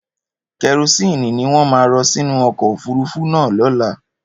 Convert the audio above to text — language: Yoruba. Kẹrosínì ni wọ́n máa rọ sínu ọkọ̀ òfurufú náà lọ́la.